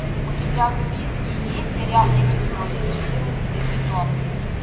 у тебя в списке есть сериал эпизоды четырнадцатый сезон